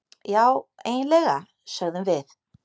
Já, eiginlega, sögðum við.